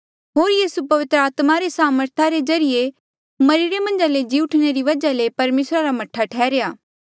होर से पवित्र आत्मा रे सामर्था ज्रीए मरिरे मन्झा ले जी उठणे री वजहा ले परमेसरा रा मह्ठा ठैहर्या